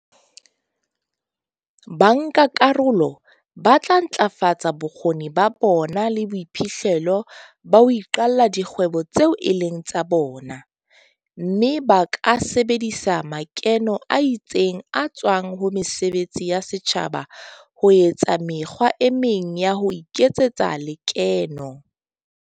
Bankakarolo ba tla ntlafatsa bokgoni ba bona le boiphihlelo ba ho iqalla dikgwebo tseo e leng tsa bona, mme ba ka sebedisa makeno a tsitseng a tswang ho mesebetsi ya setjhaba ho etsa mekgwa e meng ya ho iketsetsa lekeno.